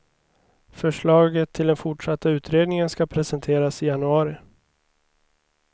Förslaget till den fortsatta utredningen ska presenteras i januari.